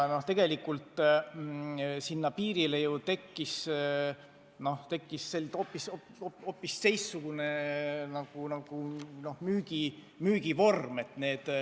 Tegelikult tekkis sinna piirile hoopis uudne müügivorm.